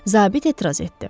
Zabit etiraz etdi.